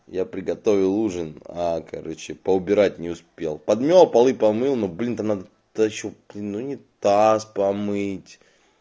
я приготовил ужин а короче поубирать не успел подмела полы помыл ну блин там надо толчек унитаз помыть